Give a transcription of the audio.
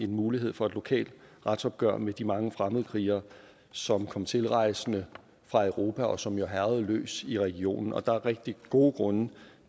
mulighed for et lokalt retsopgør med de mange fremmedkrigere som kom tilrejsende fra europa og som jo hærgede løs i regionen der er rigtig gode grunde